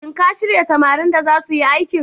Shin ka shirya samarin da zasu yi aikin?